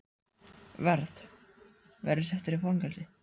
Verð. verð ég settur í fangelsi?